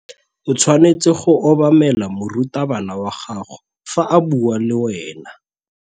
O tshwanetse go obamela morutabana wa gago fa a bua le wena.